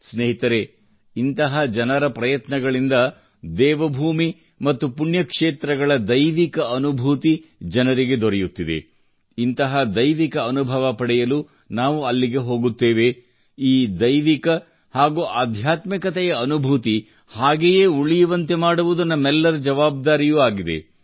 ಸ್ನೇಹಿತರೆ ಇಂತಹ ಜನರ ಪ್ರಯತ್ನಗಳಿಂದ ದೇವಭೂಮಿ ಮತ್ತು ಪುಣ್ಯಕ್ಷೇತ್ರಗಳ ದೈವಿಕ ಅನುಭೂತಿ ಜನರಿಗೆ ದೊರೆಯುತ್ತಿದೆ ಇಂತಹ ದೈವಿಕ ಅನುಭವ ಪಡೆಯಲು ನಾವು ಅಲ್ಲಿಗೆ ಹೋಗುತ್ತೇವೆ ಈ ದೈವಿಕ ಹಾಗೂ ಆಧ್ಯಾತ್ಮಿಕತೆಯ ಅನುಭೂತಿ ಹಾಗೆಯೇ ಉಳಿಯುವಂತೆ ಮಾಡುವುದು ನಮ್ಮೆಲ್ಲರ ಜವಾಬ್ದಾರಿಯೂ ಆಗಿದೆ